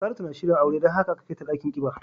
Saratu na shirin aure don haka aka kai ta dakin kiba.